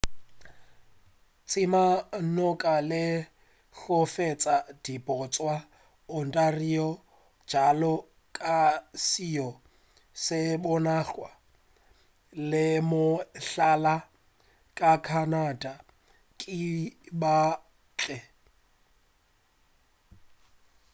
tše ka moka le go feta di bontša ontario bjalo ka seo se bonagwa e le mohlala wa canada ke ba kantle